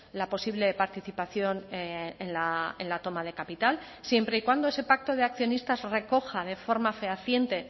la posible participación en la toma de capital siempre y cuando ese pacto de accionistas recoja de forma fehaciente